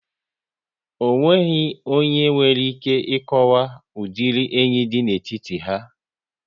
Ọ nweghị onye nwere ike ị kọwaw udiri enyi dị n'etiti ha